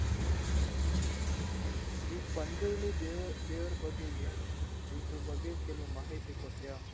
ಈ ಪಂಜುರ್ಲಿ ದೇವರ ಬಗ್ಗೆ ಏನು ಇದ್ರು ಬಗ್ಗೆ ಕೆಲವು ಮಾಹಿತಿ ಕೊಡ್ತೀಯಾ?